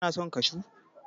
kana son kashu!